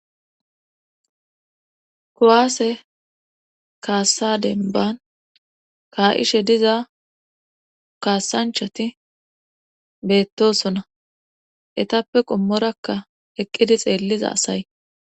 koaase kaassadenban kaa7ishe diza kaasanchati beettosona etappe qommorakka eqqidi xeelliza asay